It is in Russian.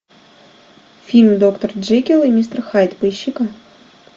фильм доктор джекилл и мистер хайд поищи ка